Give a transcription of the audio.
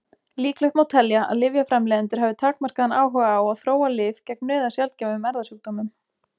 Líklegt má telja að lyfjaframleiðendur hafi takmarkaðan áhuga á að þróa lyf gegn nauðasjaldgæfum erfðasjúkdómum.